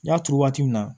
N y'a turu waati min na